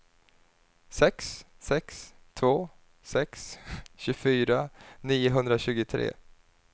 sex sex två sex tjugofyra niohundratjugotre